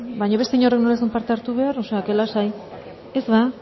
baino beste inork nola ez zuen parte hartu behar o sea lasai ez ba